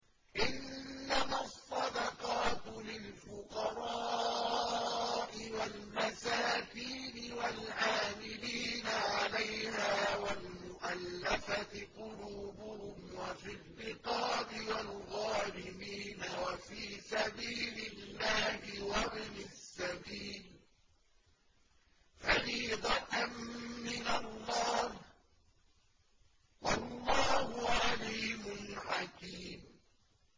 ۞ إِنَّمَا الصَّدَقَاتُ لِلْفُقَرَاءِ وَالْمَسَاكِينِ وَالْعَامِلِينَ عَلَيْهَا وَالْمُؤَلَّفَةِ قُلُوبُهُمْ وَفِي الرِّقَابِ وَالْغَارِمِينَ وَفِي سَبِيلِ اللَّهِ وَابْنِ السَّبِيلِ ۖ فَرِيضَةً مِّنَ اللَّهِ ۗ وَاللَّهُ عَلِيمٌ حَكِيمٌ